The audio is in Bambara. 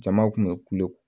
Jama kun bɛ kulo